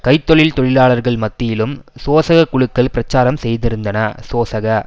கை தொழில் தொழிலாளர்கள் மத்தியிலும் சோசக குழுக்கள் பிரச்சாரம் செய்திருந்தன சோசக